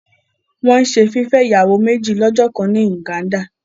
Wọn ń se fifẹ ìyàwó méjì lọ́jọkan ni Uganda.